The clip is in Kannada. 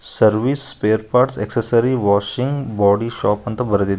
service spare parts exercise washing body shop ಅಂತ ಬರ್ದಿದೆ ಒಂದು --